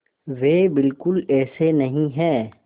वे बिल्कुल ऐसे नहीं हैं